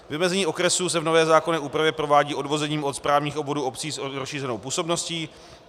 Vymezení okresů se v nové zákonné úpravě provádí odvozením od správních obvodů obcí s rozšířenou působností.